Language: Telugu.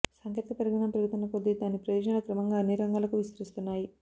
సాంకేతిక పరిజ్ఞానం పెరుగుతున్న కొద్దీ దాని ప్రయోజనాలు క్రమంగా అన్ని రంగాలకూ విస్తరిస్తున్నాయి